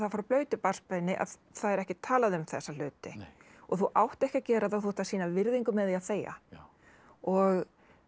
frá blautu barnsbeini að það er ekkert talað um þessa hluti og þú átt ekki að gera það og þú átt að sýna virðingu með því að þegja og